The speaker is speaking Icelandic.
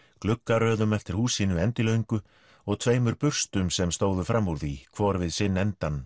gluggaröðum eftir húsinu endilöngu og tveimur burstum sem stóðu fram úr því hvor við sinn endann